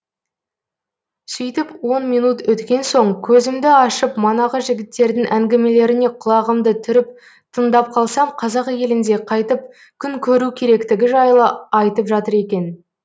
сөйтіп он минут өткен соң көзімді ашып манағы жігіттердің әңгімелеріне құлағымды түріп тыңдап қалсам қазақ елінде қайтіп күн көру керектігі жайлы айтып жатыр екен